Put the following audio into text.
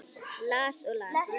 Las og las.